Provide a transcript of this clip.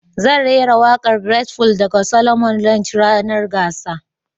zan raira waƙar great full daga Solomon Lange ranar gasar